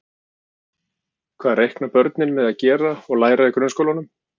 Hvað reikna börnin með að gera og læra í grunnskólanum?